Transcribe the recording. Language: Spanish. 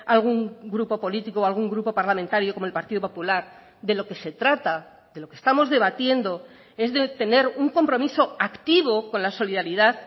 algún grupo político algún grupo parlamentario como el partido popular de lo que se trata de lo que estamos debatiendo es de tener un compromiso activo con la solidaridad